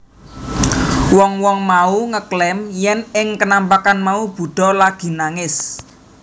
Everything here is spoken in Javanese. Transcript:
Wong wong mau ngeklaim yèn ing kenampakan mau Buddha lagi nangis